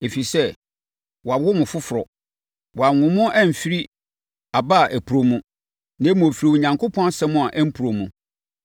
Ɛfiri sɛ, wɔawo mo foforɔ; wɔanwo mo ɛmfiri aba a ɛporɔ mu, na mmom, ɛfiri Onyankopɔn asɛm a ɛmporɔ mu.